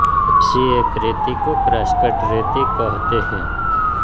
ऐसी एक रेती को क्रासकट रेती कहते हैं